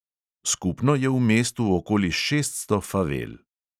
Skupno je v mestu okoli šeststo favel.